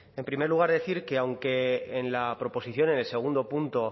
en primer lugar decir que aunque en la proposición en el segundo punto